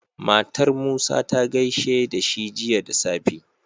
Matar musa ta gaishe dashi Jiya da safe